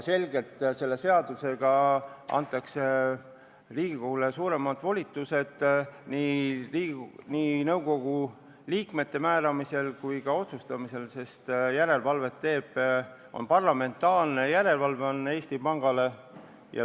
Selle seadusega antakse Riigikogule selgelt suuremad volitused nii nõukogu liikmete määramisel kui ka otsustamisel, sest Eesti Panga üle teostatakse parlamentaarset järelevalvet.